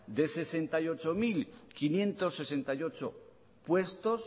de sesenta y ocho mil quinientos sesenta y ocho puestos